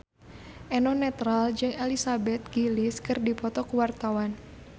Eno Netral jeung Elizabeth Gillies keur dipoto ku wartawan